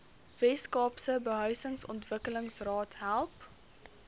weskaapse behuisingsontwikkelingsraad help